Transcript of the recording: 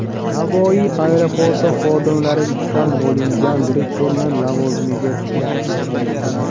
Navoiy aeroporti xodimlari ishdan olingan direktorni lavozimiga tiklashni so‘ramoqda.